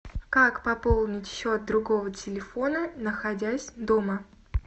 как пополнить счет другого телефона находясь дома